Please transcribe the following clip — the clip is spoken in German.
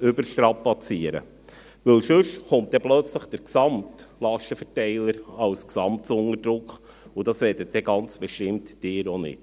überstrapazieren dürfen, denn sonst gerät plötzlich der gesamte Lastenverteiler unter Druck, und dies möchten Sie bestimmt auch nicht.